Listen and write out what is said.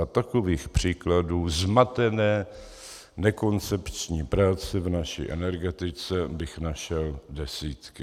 A takových příkladů zmatené nekoncepční práce v naší energetice bych našel desítky.